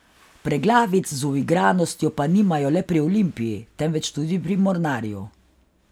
Preglavic z uigranostjo pa nimajo le pri Olimpiji, temveč tudi pri Mornarju.